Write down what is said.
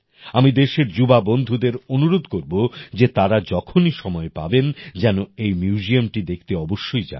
আমি দেশের যুবা বন্ধুদের অনুরোধ করবো যে তারা যখনই সময় পাবেন যেন এই মিউজিয়ামটি দেখতে অবশ্যই যান